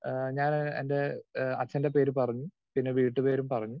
speaker 2 ഏഹ് ഞാന് എന്റെആഹ് അച്ഛൻറെ പേര് പറഞ്ഞു പിന്നെ വീട്ടുപേരും പറഞ്ഞു